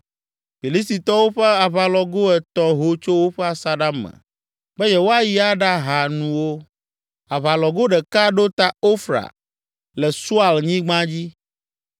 Filistitɔwo ƒe aʋalɔgo etɔ̃ ho tso woƒe asaɖa me be yewoayi aɖaha nuwo. Aʋalɔgo ɖeka ɖo ta Ofra le Sual nyigba dzi;